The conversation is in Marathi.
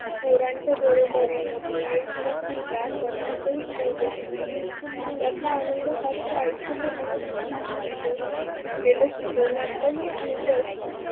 पोरांचे डोळे बरे दिवाळीतला किल्ला करण्यातही मौज असते. चिखलातला आनंद हा तर आयुष्यभर न संपणारा असतो, शिकलेलं शिकवण्यातही आनंद असते.